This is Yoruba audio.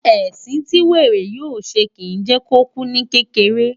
Ẹ̀sìn tí wèrè yóò ṣe, kìí jẹ́ kó kú ní kékeré.